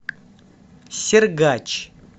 сергач